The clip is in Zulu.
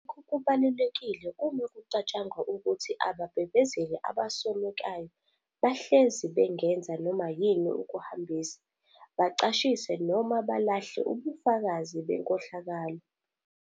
Lokhu kubalulekile uma kucatshangwa ukuthi ababhebhezeli abasolekayo bahlezi bengenza noma yini ukuhambisa, bacashise noma balahle ubufakazi benkohlakalo.